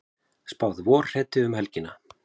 Spáð vorhreti um helgina